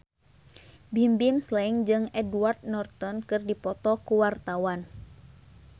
Bimbim Slank jeung Edward Norton keur dipoto ku wartawan